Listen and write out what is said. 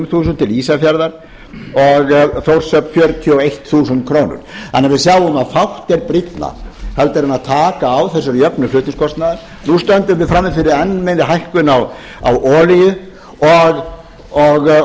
ísafjarðar og fjörutíu og eitt þúsund krónur til þórshafnar við sjáum því að fátt er brýnna en taka á þessari jöfnun fluningskostnaðar nú stöndum við frammi fyrir enn meiri hækkun á olíu og það kemur vafalaust fram í þessu að